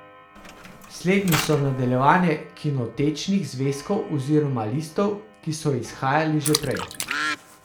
Slednji so nadaljevanje kinotečnih zvezkov oziroma listov, ki so izhajali že prej.